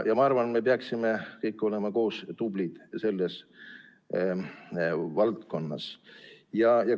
Ma arvan, et me peaksime kõik koos olema selles valdkonnas tublid.